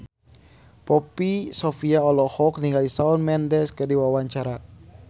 Poppy Sovia olohok ningali Shawn Mendes keur diwawancara